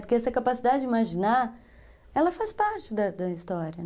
Porque essa capacidade de imaginar, ela faz parte da da história, né?